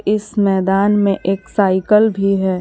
इस मैदान में एक साइकल भी है।